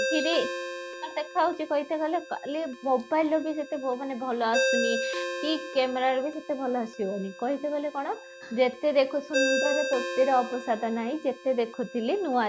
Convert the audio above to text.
ନା ଦେଖା ଯାଉଛି କହିତେ ଗଲେ କାଲି mobile ର ବି ସେତିକି ମାନେ ଭଲ ଆସୁନି କି camera ରେ ବି ସେତେ ଭଲ ଆସିବନି, କହିଲେ ଗଲେ କ'ଣ ଯେତେ ଦେଖା ସୁନ୍ଦର ତୃପ୍ତିର ଅବସାଦ ନାହିଁ ଯେତେ ଦେଖୁଥିଲେ ନୂଆ